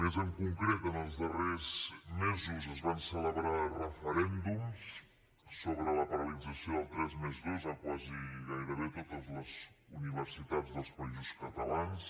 més en concret en els darrers mesos es van celebrar referèndums sobre la paralització del tres+dos a gairebé totes les universitats dels països catalans